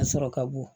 A sɔrɔ ka bon